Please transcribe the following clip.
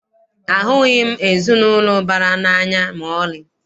Ahụghị m ezinaụlọ ụbara n'anya maọlị.